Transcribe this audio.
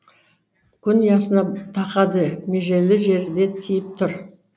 күн ұясына тақады межелі жері де тиіп түр